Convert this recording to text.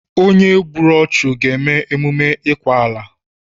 Onye gbùrù ọchu ga eme emume ikwa ala